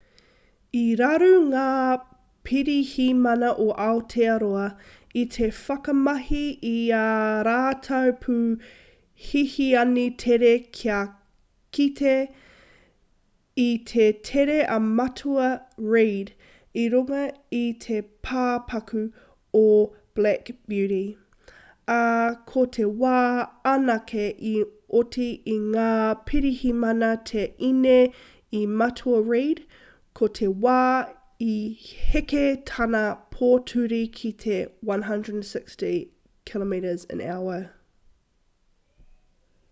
i raru ngā pirihimana o aotearoa i te whakamahi i ā rātou pū hihiani tere kia kite i te tere a matua reid i runga i te pāpaku o black beauty ā ko te wā anake i oti i ngā pirihimana te ine i matua reid ko te wā i heke tana pōturi ki te 160km/h